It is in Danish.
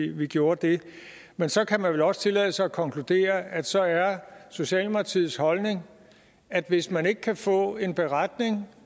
vi gjorde det men så kan man vel også tillade sig at konkludere at så er socialdemokratiets holdning at hvis man ikke kan få en beretning